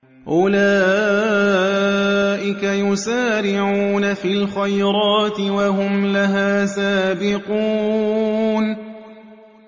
أُولَٰئِكَ يُسَارِعُونَ فِي الْخَيْرَاتِ وَهُمْ لَهَا سَابِقُونَ